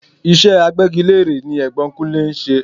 Iṣẹ́ agbégilére ni Ẹ̀gbọ́n Kunlè ń ṣe.